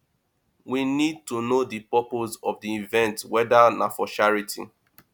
we need to know di purpose of di event weda na for charity